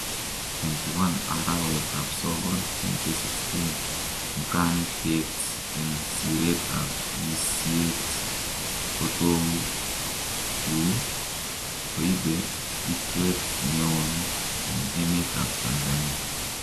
21 araweetab sokool 2016 mukaankeet en sireetab yiisyeet kotokuu koibee bitweet neon en emeetab Tanzania